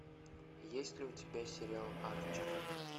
есть ли у тебя сериал арчер